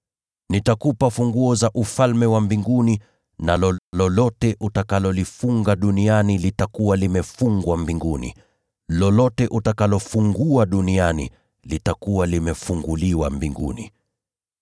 Nitakupa funguo za Ufalme wa mbinguni, na lolote utakalolifunga duniani litakuwa limefungwa Mbinguni, nalo lolote utakalofungua duniani litakuwa limefunguliwa mbinguni.”